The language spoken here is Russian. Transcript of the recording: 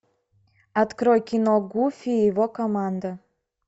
открой кино гуфи и его команда